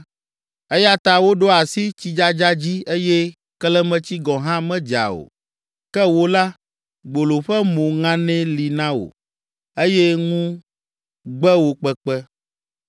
Eya ta woɖo asi tsidzadza dzi eye kelemetsi gɔ̃ hã medza o. Ke wò la, gbolo ƒe mo ŋanɛ li na wò eye ŋu gbe wò kpekpe.